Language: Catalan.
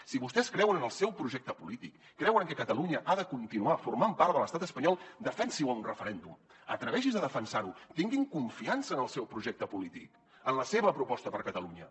si vostès creuen en el seu projecte polític creuen que catalunya ha de continuar formant part de l’estat espanyol defensi ho en un referèndum atreveixi’s a defensar ho tinguin confiança en el seu projecte polític en la seva proposta per a catalunya